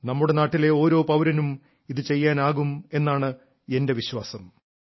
നമ്മുടെ നാട്ടിലെ ഓരോ പൌരനും ഇതു ചെയ്യാനാകും എന്നാണ് എന്റെ വിശ്വാസം